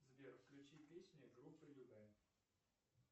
сбер включи песню группы любэ